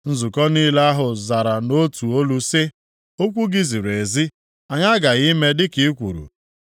Nzukọ niile ahụ zara nʼotu olu sị. “Okwu gị ziri ezi, Anyị aghaghị ime dịka i kwuru.”